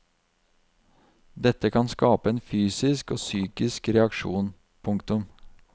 Dette kan skape en fysisk og psykisk reaksjon. punktum